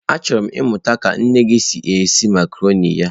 Achọrọ m ịmụta ka nne gị si esi macarọnị ya.